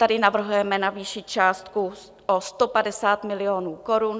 Tady navrhujeme navýšit částku o 150 milionů korun.